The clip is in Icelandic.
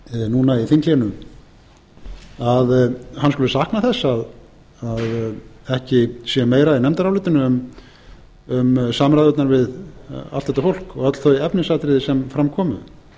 eina tvo fundi hennar núna í þinghléinu skuli sakna þess að ekki sé meira í nefndarálitinu um samræðurnar við allt þetta fólk og öll þau efnisatriði sem fram komu